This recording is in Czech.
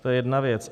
To je jedna věc.